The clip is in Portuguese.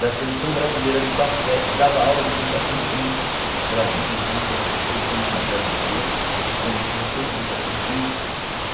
da Seleção Brasileira de Basquete, dava aula de Educação Física para a minha irmã, que era três anos mais velha que eu, como professora de Educação Física.